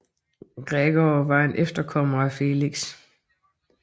Gregor var en efterkommer af Felix